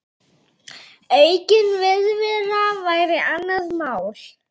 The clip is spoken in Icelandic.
Aukin viðvera væri annað mál.